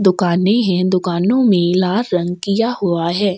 दुकाने है दुकानों में लाल रंग किया हुआ है।